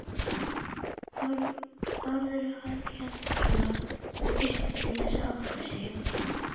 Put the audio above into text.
Þórður á Hjalla varð fyrstur til að átta sig.